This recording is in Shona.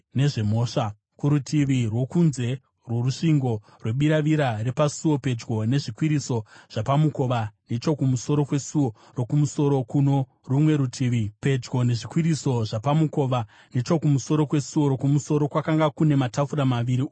Kurutivi rwokunze rworusvingo rwebiravira repasuo, pedyo nezvikwiriso zvapamukova nechokumusoro kwesuo rokumusoro kwakanga kune matafura maviri, uye kuno rumwe rutivi rwezvikwiriso kwaivawo namatafura maviri.